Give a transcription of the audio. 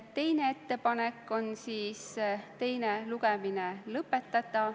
Teine ettepanek oli teine lugemine lõpetada.